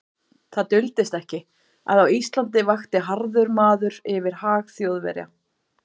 Það duldist ekki, að á Íslandi vakti harður maður yfir hag Þjóðverja.